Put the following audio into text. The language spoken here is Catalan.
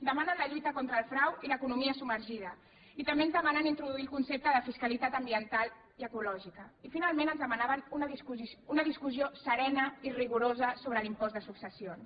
demanen la lluita contra el frau i l’economia submergida i també ens demanen introduir el concepte de fiscalitat ambiental i ecològica i finalment ens demanaven una discussió serena i rigorosa sobre l’impost de successions